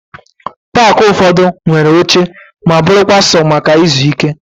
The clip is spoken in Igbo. Paakị ụfọdụ nwere oche ma bụrụkwa sọ maka ịzụ ike